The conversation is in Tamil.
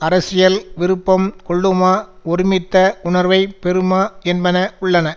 அரசியல் விருப்பம் கொள்ளுமா ஒருமித்த உணர்வை பெறுமா என்பன உள்ளன